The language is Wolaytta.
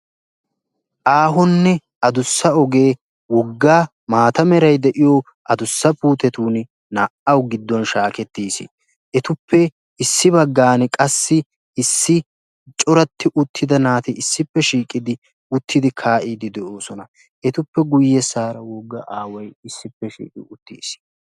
aahonne adussa ogee woggaa maata merai de7iyo adussa puutetun naa77au gidduwan shaakettiis. etuppe issi baggan qassi issi coratti uttida naati issippe shiiqidi uttidi kaa7iidi de7oosona. etuppe guyye saara wogga aawai issippe shiiqi uttiis.